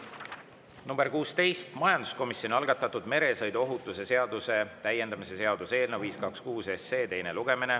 on majanduskomisjoni algatatud meresõiduohutuse seaduse täiendamise seaduse eelnõu 526 teine lugemine.